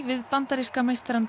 við bandaríska meistarann